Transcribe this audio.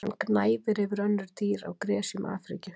Hann gnæfir yfir önnur dýr á gresjum Afríku.